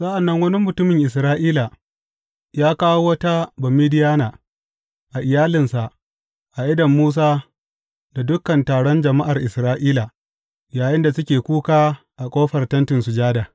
Sa’an nan wani mutumin Isra’ila ya kawo wata Bamidiyana a iyalinsa a idon Musa da dukan taron jama’ar Isra’ila, yayinda suke kuka a ƙofar Tentin Sujada.